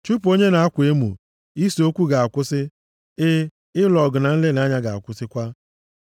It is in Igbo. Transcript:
Chụpụ onye na-akwa emo, ise okwu ga-akwụsị, e, ịlụ ọgụ na nlelị ga-akwụsịkwa.